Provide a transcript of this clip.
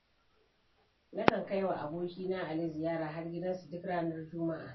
Nakan kaiwa abokina Ali ziyara har gidansu duk ranar juma;a.